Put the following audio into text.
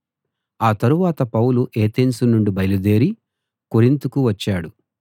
ఆ తరువాత Paul Athens నుండి బయలుదేరి కొరింతుకు వచ్చాడు